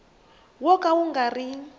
wo ka wu nga ri